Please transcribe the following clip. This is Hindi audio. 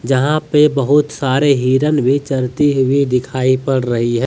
जहाँ पे बहुत सारे हिरन भी चरती हुई दिखाई पड़ रही है|